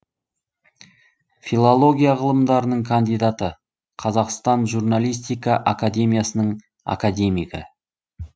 филология ғылымдарының кандидаты қазақстан журналистика академиясының академигі